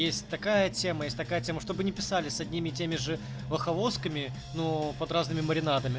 есть такая тема есть такая тема чтобы не писали с одними и теми же ваховосками но под разными маринадами